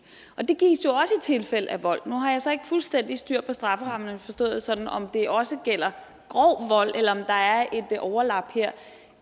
tilfælde af vold nu har jeg så ikke fuldstændig styr på strafferammerne forstået sådan om det også gælder grov vold eller om der er et overlap her